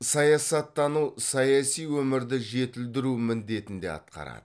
саясаттану саяси өмірді жетілдіру міндетін де атқарады